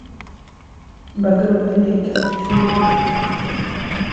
багровые реки хочу увидеть